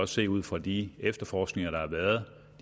se ud fra de efterforskninger der har været og